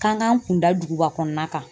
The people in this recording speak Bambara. K'an k'an kun da duguba kɔnɔna kan